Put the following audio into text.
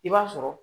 I b'a sɔrɔ